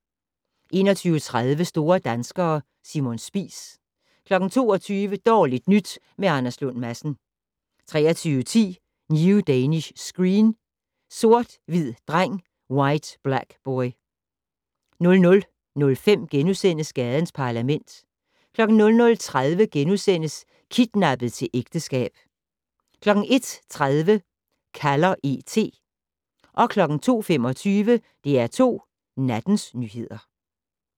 21:30: Store danskere - Simon Spies 22:00: Dårligt nyt med Anders Lund Madsen 23:10: New Danish Screen: Sort hvid dreng/White Black Boy 00:05: Gadens Parlament * 00:30: Kidnappet til ægteskab * 01:30: Kalder E.T 02:25: DR2 Nattens nyheder